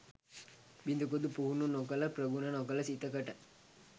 බිඳකුදු පුහුණු නො කළ ප්‍රගුණ නොකළ සිතකට,